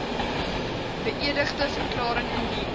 beëdigde verklaring indien